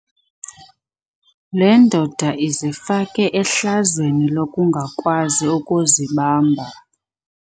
Le ndoda izifake ehlazweni lokungakwazi ukuzibamba.